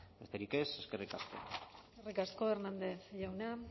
besterik ez eskerrik asko eskerrik asko hernández jauna